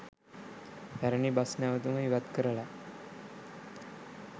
පැරණි බස් නැවතුම ඉවත් කරලා